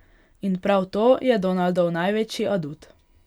In prav to je Donaldov največji adut.